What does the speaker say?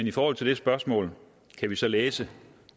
i forhold til det spørgsmål kan vi så læse